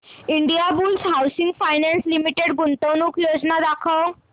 Indiabulls housing finance limited गुंतवणूक योजना दाखव